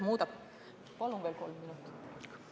Palun veel kolm minutit!